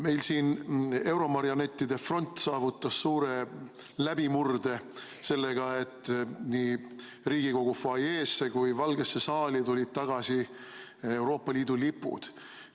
Meil siin euromarionettide front saavutas suure läbimurde sellega, et nii Riigikogu fuajeesse kui Valgesse saali tulid tagasi Euroopa Liidu lipud.